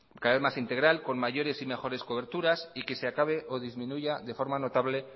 cada vez más integral con mayores y mejores coberturas y que se acabe o disminuya de forma notable